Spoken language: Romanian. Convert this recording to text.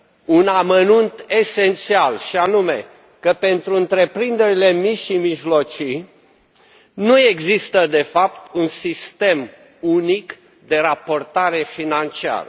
un amănunt esențial, și anume că pentru întreprinderile mici și mijlocii nu există de fapt un sistem unic de raportare financiară.